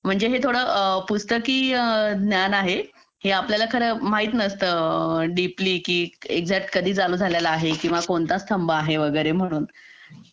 म्हणजे हे थोडं पुस्तकी ज्ञान आहे हे आपल्याला खरं माहीत नसतं डीपी एक्झॅक्टली हे कधी चालू झालं किंवा कोणता स्तंभ आहे म्हणून